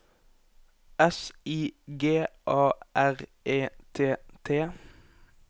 S I G A R E T T